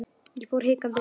Ég fór hikandi inn.